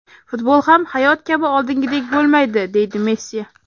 Futbol ham, hayot kabi oldingidek bo‘lmaydi”, deydi Messi.